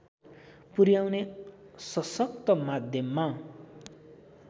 पुर्‍याउने सशक्त माध्यममा